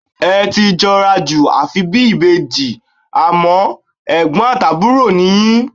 Ẹ ti jọra jù, àfi bí ìbejì, àmọ́, ẹ̀gbọ́n àti àbúrò ni yín.